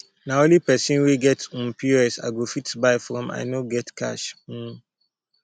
na only pesin wey get um pos i go fit buy from i no get cash um